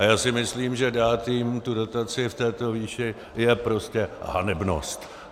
A já si myslím, že dát jim tu dotaci v této výši je prostě hanebnost.